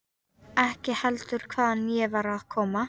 Ekki heldur hvaðan ég var að koma.